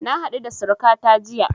Na haɗu da surukata jiya